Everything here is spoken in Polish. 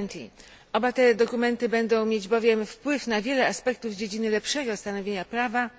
2020. Oba te dokumenty będą miały wpływ na wiele aspektów w dziedzinie lepszego stanowienia prawa,